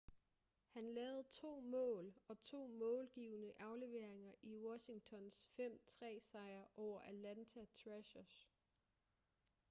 han lavede 2 mål og 2 målgivende afleveringer i washingtons 5-3 sejr over atlanta thrashers